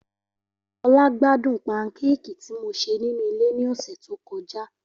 Ola gbadun pankéèkì ti mo ṣe ninu ile ni ọsẹ to kọja.